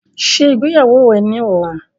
Ṣé ìgbéyàwó rẹ ni ọ̀la!